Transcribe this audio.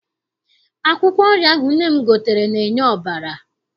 Akwụkwọ nri ahụ nne m gotere na-enye ọbara.